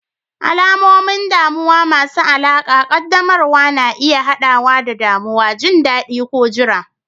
Alamomin damuwa masu alaƙa ƙaddamarwa na iya haɗawa da damuwa, jin daɗi, ko jira.